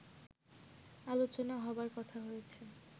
আলোচনা হবার কথা রয়েছে